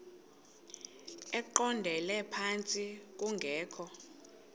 eqondele phantsi kungekho